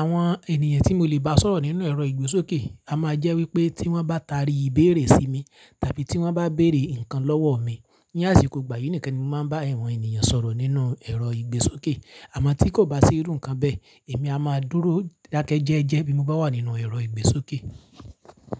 Àwọn ènìyàn tí mo lè bá sọ̀rọ̀ nínú ẹ̀rọ ìgbésókè a máa jẹ́ wípé tí wọ́n bá tarí ìbéèrè sí mi tàbí tí wọ́n bá béèrè ǹkan lọ́wọ́ mi. Ní àsìkò ìgbà yìí nìkan ni mo máa ń bá awọ̀n ènìyàn sọ̀rọ̀ nínú ẹ̀rọ ìgbésókè. Àmọ́ tí kò bá sí irú ǹkan bẹ́ẹ̀, èmi a máa dúró dákẹ́jẹ́jẹ́ bí mo bá wà nínú ẹ̀rọ ìgbésókè.